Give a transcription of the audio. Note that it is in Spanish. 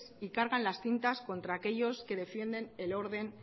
y cargan las tintas contra aquellos que defienden el orden